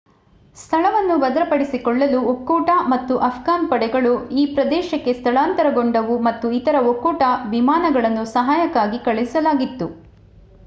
ಸ್ಥಳವನ್ನು ಭದ್ರಪಡಿಸಿಕೊಳ್ಳಲು ಒಕ್ಕೂಟ ಮತ್ತು ಆಫ್ಘಾನ್ ಪಡೆಗಳು ಈ ಪ್ರದೇಶಕ್ಕೆ ಸ್ಥಳಾಂತರಗೊಂಡವು ಮತ್ತು ಇತರ ಒಕ್ಕೂಟ ವಿಮಾನಗಳನ್ನು ಸಹಾಯಕ್ಕಾಗಿ ಕಳುಹಿಸಲಾಗಿತ್ತು